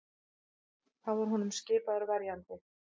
Þá var honum skipaður verjandi